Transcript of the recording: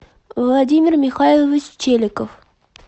владимир михайлович челиков